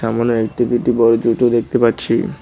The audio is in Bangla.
সামোনে এল_টি_পি_টি বোর্ড দুইটো দেখতে পাচ্ছি।